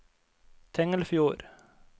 Tengelfjord